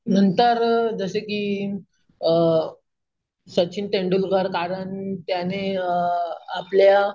नंतर जसे की अम सचिन तेंडुलकर कारण त्याने अम आपल्या